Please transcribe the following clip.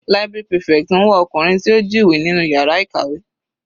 Library prefect ń wá ọkùnrin tí ó jí ìwé nínú yàrá ìkàwé.